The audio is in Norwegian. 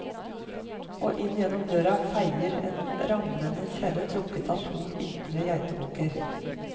Og inn gjennom døren feier en ramlende kjerre trukket av to iltre geitebukker.